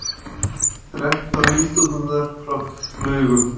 Þrettán nýstúdentar frá Laugum